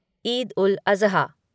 Eid ul Azha